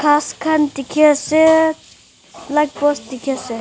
ghas khan dikhi ase light post dikhi ase.